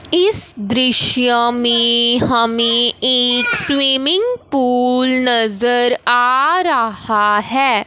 इस दृश्य में हमें एक स्विमिंग पूल नजर आ रहा है।